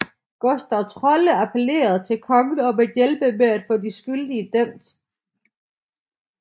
Gustav Trolle appellerede til kongen om at hjælpe med at få de skyldige dømt